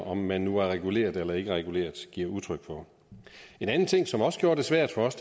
om man nu er reguleret eller ikke er reguleret giver udtryk for en anden ting som også gjorde det svært for os